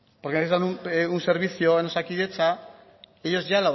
porque necesitan un servicio en osakidetza ellos